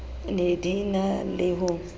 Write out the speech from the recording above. ne di na le ho